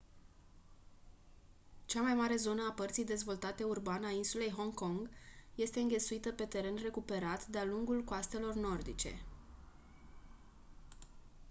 cea mai mare zonă a părții dezvoltate urban a insulei hong kong este înghesuită pe teren recuperat de-a lungul coastelor nordice